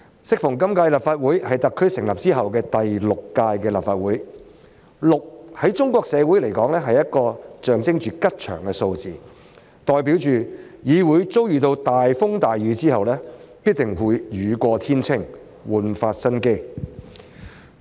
適逢今屆立法會是特區成立後的第六屆立法會，"六"在中國社會是一個象徵吉祥的數字，代表議會遭遇大風大雨後，必定會雨過天青，煥發新機。